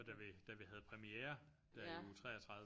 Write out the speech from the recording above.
Og da vi da vi havde premiere der i uge 33